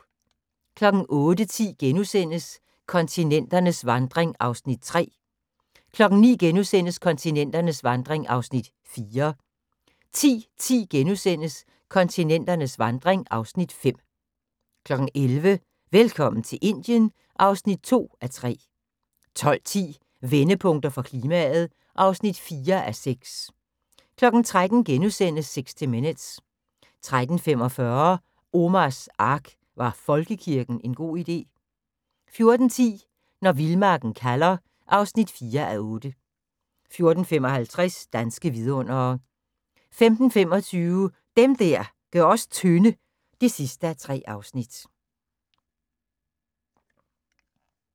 08:10: Kontinenternes vandring (Afs. 3)* 09:00: Kontinenternes vandring (Afs. 4)* 10:10: Kontinenternes vandring (Afs. 5)* 11:00: Velkommen til Indien (2:3) 12:10: Vendepunkter for klimaet (4:6) 13:00: 60 Minutes * 13:45: Omars Ark – Var folkekirken en god idé? 14:10: Når vildmarken kalder (4:8) 14:55: Danske vidundere 15:25: Dem der gør os tynde (3:3)